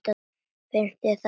Finnst þér það ekki?